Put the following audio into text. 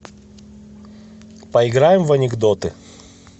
поиграем в анекдоты